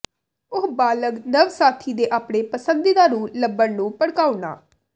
ਉਹ ਬਾਲਗ ਨਵ ਸਾਥੀ ਦੇ ਆਪਣੇ ਪਸੰਦੀਦਾ ਨੂੰ ਲੱਭਣ ਨੂੰ ਭੜਕਾਉਣਾ